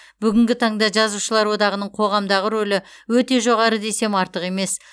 бүгінгі таңда жазушылар одағының қоғамдағы рөлі өте жоғары десем артық емес